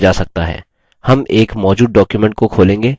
हम एक मौजूद डॉक्युमेंट को खोलेंगे